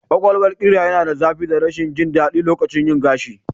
Ƙwaƙwalwar ƙira yana da zafi da rashin jin daɗi lokacin yin gashi